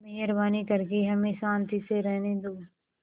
मेहरबानी करके हमें शान्ति से रहने दो